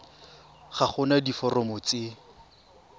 ga go na diforomo tse